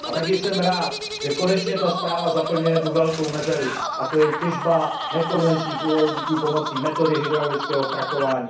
A taky jsem rád, že konečně tato zpráva zaplňuje jednu velkou mezeru, a to je těžba nekonvenčních uhlovodíků pomocí metody hydraulického frakování.